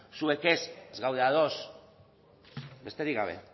zuek ez ez gaude ados besterik gabe